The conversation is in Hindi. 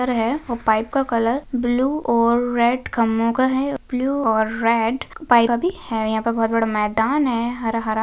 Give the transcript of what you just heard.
कलर है वो पाइप का कलर ब्लू और रेड खंबों का है ब्लू और रेड पाइप का भी है यहाँ पे बहोत बड़ा मैदान है हरा हरा--